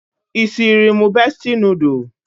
Isiri mụ besti noodul?